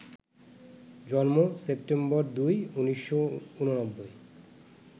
জন্মঃ September ২, ১৯৮৯